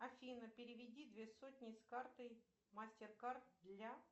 афина переведи две сотни с карты мастеркард для